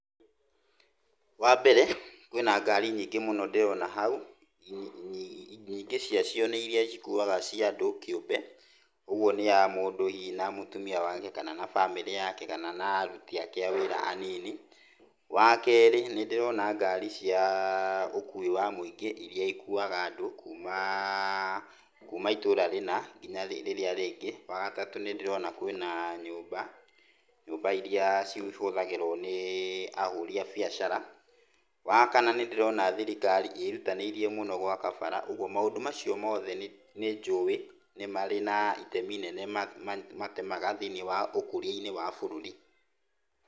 Wambere kwĩna ngari nyingĩ mũno ndirona hau, nyingĩ ciacio nĩ iria cikuaga cia andũ kiũmbe ũguo nĩ ya mũndũ hihi na mũtumia wake kana na bamĩrĩ yake kana na aruti ake a wĩra anini. Wa kerĩ nĩ ndĩrona ngari cia ũkui wa mũingĩ irĩa ikuwaga andũ kuuma itũra rĩna nginya rĩrĩa rĩngĩ. Wa gatatũ nĩ ndĩrona kwĩna nyũmba, nyũmba irĩa cihũthagĩrũo nĩ ahũri a biacara. Wa kana nĩ ndĩrona thirikari ĩrutanĩirie gwaka bara ũguo maũndũ macio mothe nĩ njũĩ nĩ marĩ na itemi nene matemaga thĩiniĩ wa ũkũriainĩ wa bũrũri.